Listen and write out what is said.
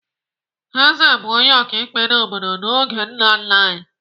Eze bụ onye ọkaikpe n'obodo n'oge nna nna anyị.